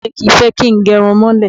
Bàbá mi kì í fẹ́ kí n gẹrun mọ́lẹ̀.